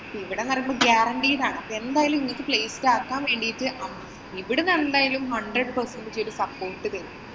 ഇവിടെ എന്ന് പറയുന്നത് guaranteed ആണ്. എന്തായാലും നിനക്ക് place ആക്കാന്‍ വേണ്ടിട്ടു ഇവിടുന്നു എന്തായാലും hundred Percentage support തരും.